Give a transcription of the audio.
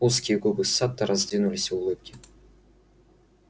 узкие губы сатта раздвинулись в улыбке